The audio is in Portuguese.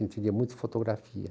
A gente via muito fotografia.